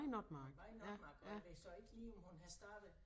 Hun var i Notmark og jeg ved så ikke lige om hun havde startet